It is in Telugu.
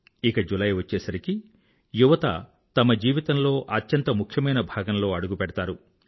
ఇక జులై వచ్చేసరికీ యువత తమ జీవితంలో అత్యంత ముఖ్యమైన భాగంలో అడుగు పెడతారు